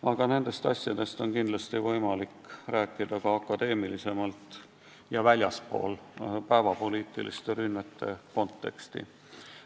Aga nendest asjadest on võimalik rääkida ka akadeemilisemalt ja väljaspool päevapoliitiliste rünnete konteksti.